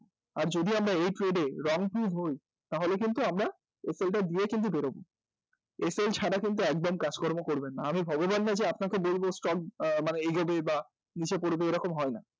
আর যদি আমরা এই trade এ হই, তাহলে কিন্তু আমরা SL টা দিয়ে কিন্তু বেরোব SL ছাড়া কিন্তু একদম কাজকর্ম করবেন না, আমি ভগবান নই যে আমি আপনাকে বলব যে stock এগোবে বা নীচে পড়বে এরকম হয় না